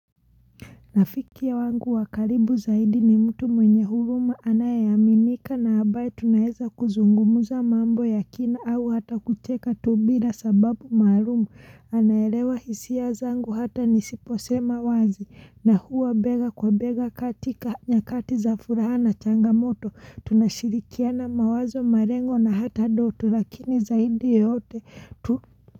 Rafiki wangu wakaribu zaidi ni mtu mwenye huruma anaeaminika na abaye tunaeza kuzungumuza mambo ya kina au hata kucheka tu bira sababu maalum anaelewa hisia zangu hata nisipo sema wazi na huwa bega kwa bega katika nyakati za furaha na changamoto tunashirikiana mawazo marengo na hata ndoto lakini zaidi yote.